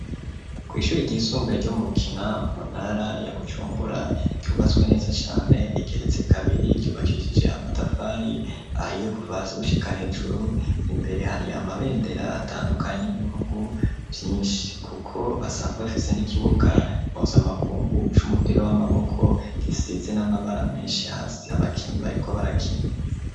Kw' ishuri ry'isumbuye ryo mu bukina muntara ya Bujumbura, cubatswe neza cane, rigeretse kabiri, yubakishije amatafari ahiye kuvasi gushika hejuru ,imbere hari amabendera atandukanye 'y'ibihugu Vyinshi kuko basanzwe bafise n'ikibuga mpuzamakungu c'umupira w'amaboko, gisize n'amabara menshi hasi, abakinyi bariko barakina.